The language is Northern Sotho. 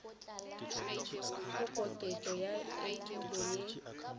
go koketšo ya etulo ye